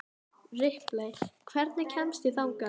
Ripley, hvernig kemst ég þangað?